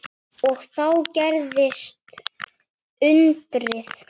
Og þá gerðist undrið.